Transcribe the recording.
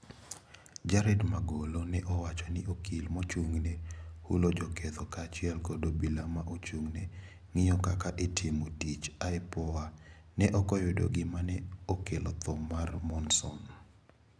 Jared Magolo ne owacho ni okil mochungne hulo joketho kaachiel kod obila ma ochung'ne ngio kaka itimo tich(IPOA) ne okoyudo gima ne okelo tho mar Monson.